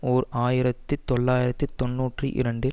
ஓர் ஆயிரத்தி தொள்ளாயிரத்து தொன்னூற்றி இரண்டில்